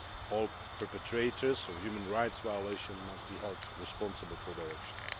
All perpetrators of human rights violations must be held responsible for their actions.